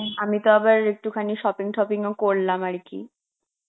আমি তো আবার একটুখানি shopping ঠফিং ও করলাম আরকি.